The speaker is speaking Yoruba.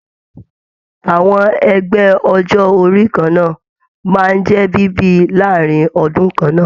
Àwọn ẹgbẹ ọjọ orí kanna máa n jẹ bíbí láàrin ọdún kanna.